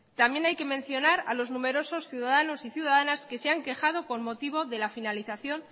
también hay que mencionar a los numerosos ciudadanos y ciudadanas que se han quejada con motivo de la finalización